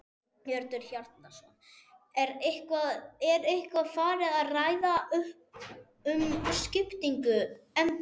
Hjörtur Hjartarson: Er eitthvað farið að ræða um skiptingu embætta?